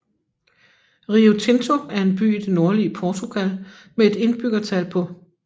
Rio Tinto er en by i det nordlige Portugal med et indbyggertal på